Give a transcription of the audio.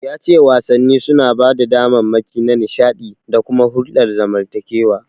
Ya ce wasanni suna ba da damammaki na nishaɗi da kuma hulɗar zamantakewa.